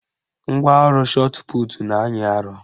Ngwaọrụ shọtputu na-anyị arọ